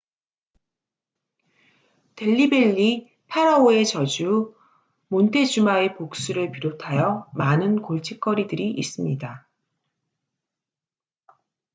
델리 벨리 파라오의 저주 몬테주마의 복수를 비롯하여 많은 골칫거리들이 있습니다